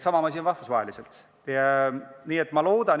Sama asi on rahvusvahelisel tasandil.